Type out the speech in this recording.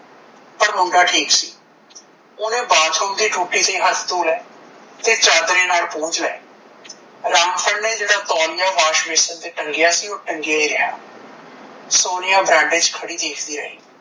ਪਰ ਮੁੰਡਾ ਠੀਕ ਸੀ ਓਹਨੇ ਬਾਥਰੂਮ ਦੀ ਟੂਟੀ ਤੇ ਹੱਥ ਧੋ ਲਏ ਤੇ ਚਾਦਰੇ ਨਾਲ ਪੂੰਝ ਲਏ ਰਾਮ ਫਲ ਨੇ ਜਿਹੜਾ ਤੋਲਿਆ wash basin ਤੇ ਟੰਗਿਆ ਸੀ ਓਹ ਟੰਗਿਆ ਹੀ ਰਿਹਾ ਸੋਨੀਆ ਬਰਾਂਡੇ ਚ ਖੜੀਂ ਦੇਖਦੀ ਰਹਿ